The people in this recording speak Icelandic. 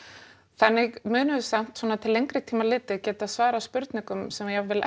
þannig munum við samt svona til lengri tíma litið geta svarað spurningum sem jafnvel